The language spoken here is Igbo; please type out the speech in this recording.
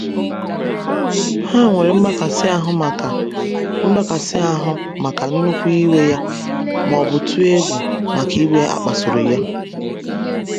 Ha nwere "mgbakasị ahụ maka "mgbakasị ahụ maka nnukwu iwe ya,' ma ọ bụ tụọ egwu maka iwe akpasuru ya.'